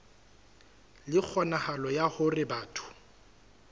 le kgonahalo ya hore batho